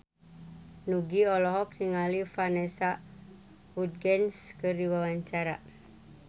Nugie olohok ningali Vanessa Hudgens keur diwawancara